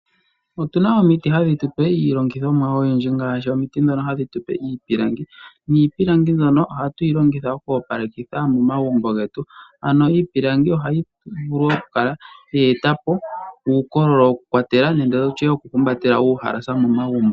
Otu na omiti hadhi tupe iilongithomwa oyindji ngaashi omiti ndhono hadhi tupe iipilangi, Niipilangi mbyono ohatu yi longitha oku opalekitha momagumbo getu ano iipilangi ohayi vulu okukala ye etapo uukololo woku kwatela nenge tutye woku humbatela uuhalasa momagumbo.